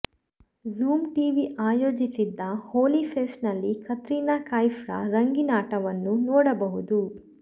zoom TV ಆಯೋಜಿಸಿದ್ದ ಹೋಲಿ ಫೆಸ್ಟ್ನಲ್ಲಿ ಕತ್ರಿನಾ ಕೈಫ್ರ ರಂಗಿನಾಟವನ್ನು ನೋಡಬಹುದು